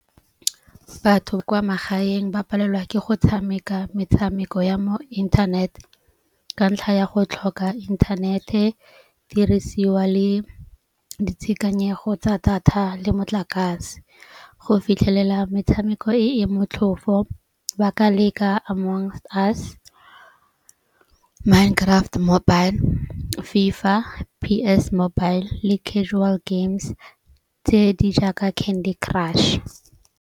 Batho kwa magaeng ba palelwa ke go tshameka metshameko ya mo internet. Ka ntlha ya go tlhoka internet-e, dirisiwa le ditshekanyego tsa thata le motlakase. Go fitlhelela metshameko e e motlhofo ba ka leka Among Us, Minecraft mobile, FIFA, PS mobile le casual games tse di jaaka Candy Crush.